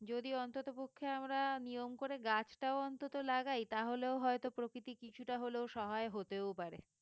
যদি অন্ততপক্ষে আমরা নিয়ম করে গাছটাও অন্তত লাগাই তাহলেও হয়তো প্রকৃতি কিছুটা হলেও সহায় হতেও পারে